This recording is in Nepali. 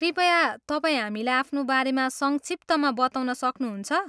कृपया तपाईँ हामीलाई आफ्नो बारेमा संक्षिप्तमा बताउन सक्नुहुन्छ?